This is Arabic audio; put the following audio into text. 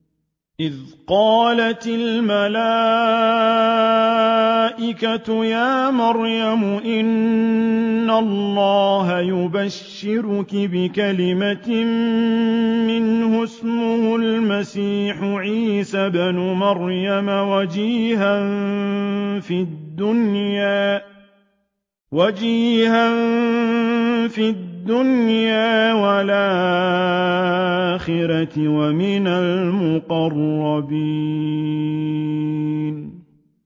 إِذْ قَالَتِ الْمَلَائِكَةُ يَا مَرْيَمُ إِنَّ اللَّهَ يُبَشِّرُكِ بِكَلِمَةٍ مِّنْهُ اسْمُهُ الْمَسِيحُ عِيسَى ابْنُ مَرْيَمَ وَجِيهًا فِي الدُّنْيَا وَالْآخِرَةِ وَمِنَ الْمُقَرَّبِينَ